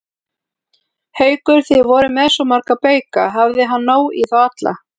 Haukur: Þið voruð með svo marga bauka, hafði hann nóg í þá alla?